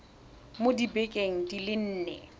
mo dibekeng di le nne